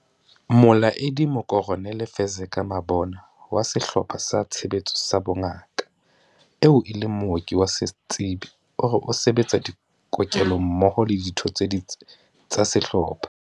Molaedi Mokoronele Fezeka Mabona wa Sehlopha sa Tshebetso sa Bongaka, eo e leng mooki wa setsebi, o re o se betsa dikokelong mmoho le ditho tse ding tsa sehlopha.